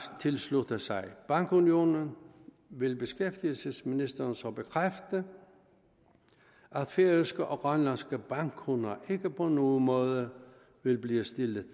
tilslutter sig bankunionen vil beskæftigelsesministeren så bekræfte at færøske og grønlandske bankkunder ikke på nogen måde vil blive stillet